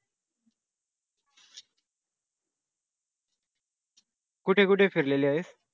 कुठे कुठे फिरलेली आहेस?